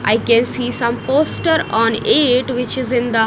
I can see some poster on it which is in the--